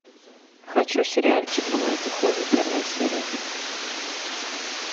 хочу сериальчик бывает и хуже первая серия